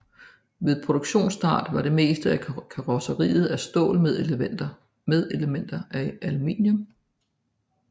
Ved produktionsstart var det meste af karrosseriet af stål med elementer af aluminium